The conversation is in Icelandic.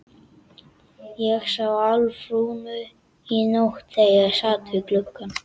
Ég sá Álfrúnu í nótt þegar ég sat við gluggann.